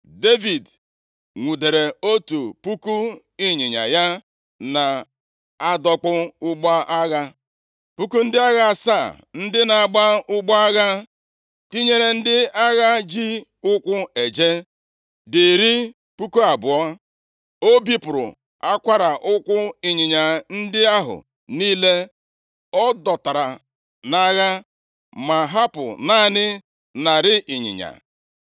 Devid nwudere otu puku ịnyịnya ya na-adọkpụ ụgbọ agha, puku ndị agha asaa ndị na-agba ụgbọ agha, tinyere ndị agha ji ụkwụ eje dị iri puku abụọ. O bipụrụ akwara ụkwụ ịnyịnya ndị ahụ niile ọ dọtara nʼagha, ma hapụ naanị narị ịnyịnya.